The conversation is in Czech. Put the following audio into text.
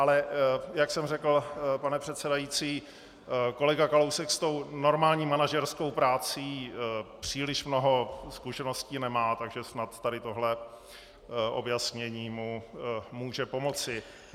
Ale jak jsem řekl, pane předsedající, kolega Kalousek s tou normální manažerskou prací příliš mnoho zkušeností nemá, takže snad tady tohle objasnění mu může pomoci.